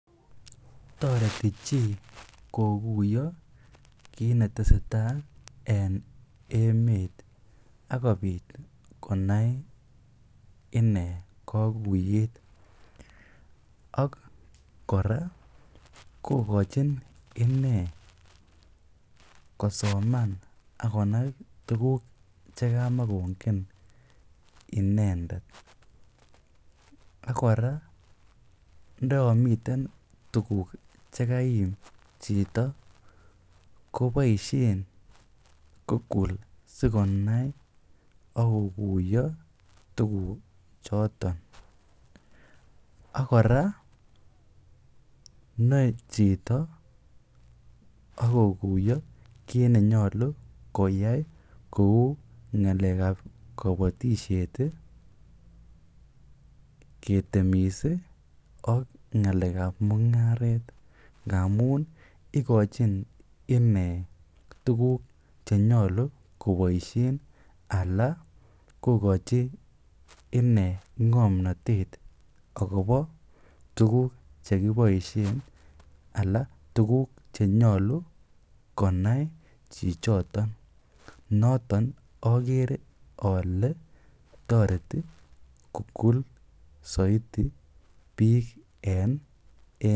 Toreti chii kokuyo kiit neteseta en emet akobit konai inee kokuiyet ak kora kokochin inee kosoman ak konai tukuk chekamakongen inendet, nekora ndoyomiten tukuk chekaim chito koboishen google sikonai ak kokuiyo tukuchoton, ak kora noe chito ak kokuiyo kiit nenyolu koyai kouu ngalekab kobotishet, ketemis ak ngalekab mungaret ngamun ikochin inee tukuk chenyolu koboishen alaa kokochi inee ngomnotet ak kobo tukuk chekiboishen alaa tukuk chenyolu konai chichoton noton okere olee toreti google soiti biik en emet.